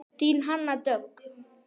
Þín Hanna Dögg.